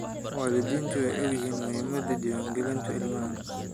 Waalidiintu way ogyihiin muhiimadda diiwaangelinta ilmaha.